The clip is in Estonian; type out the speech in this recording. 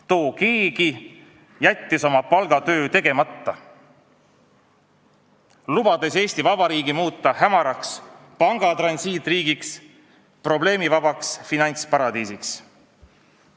Too keegi jättis oma palgatöö tegemata, lubades Eesti Vabariigi muuta hämaraks pangatransiitriigiks, probleemivabaks finantsparadiisiks.